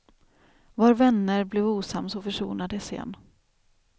Var vänner, blev osams och försonades igen.